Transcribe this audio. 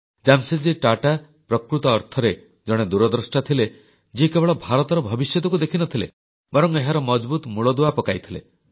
ଜାମଶେଦଜୀ ଟାଟା ପ୍ରକୃତ ଅର୍ଥରେ ଜଣେ ଦୂରଦ୍ରଷ୍ଟା ଥିଲେ ଯିଏ କେବଳ ଭାରତର ଭବିଷ୍ୟତକୁ ଦେଖିନଥିଲେ ବରଂ ଏହାର ମଜଭୁତ ମୂଳଦୁଆ ପକାଇଥିଲେ